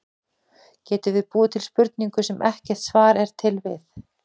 Getum við búið til spurningu, sem ekkert svar er til við?